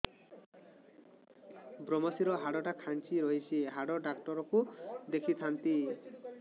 ଵ୍ରମଶିର ହାଡ଼ ଟା ଖାନ୍ଚି ରଖିଛି ହାଡ଼ ଡାକ୍ତର କୁ ଦେଖିଥାନ୍ତି